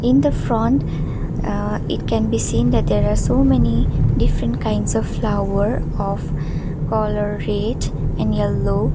in the front ah it can be seen that there are so many different kinds of flower of colour red and yellow.